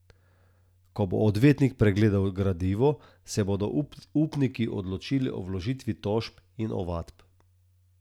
Ko bo odvetnik pregledal gradivo, se bodo upniki odločili o vložitvi tožb in ovadb.